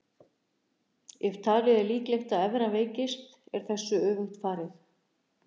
Ef talið er líklegt að evran veikist er þessu öfugt farið.